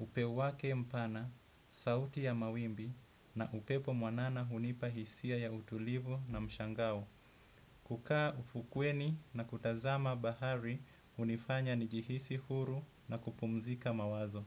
Upeo wake mpana, sauti ya mawimbi na upepo mwanana hunipa hisia ya utulivu na mshangau. Kukaa ufukweni na kutazama bahari unifanya njihisi huru na kupumzika mawazo.